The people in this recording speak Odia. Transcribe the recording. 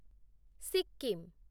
ସିକ୍କିମ